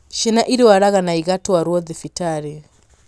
ciana irwaraga na igatwarwo thibitarĩ